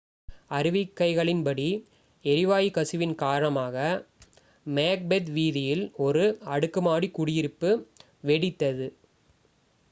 அறிக்கைகளின்படி எரிவாயு கசிவின் காரணமாக மேக்பெத் வீதியில் ஒரு அடுக்குமாடி குடியிருப்பு வெடித்தது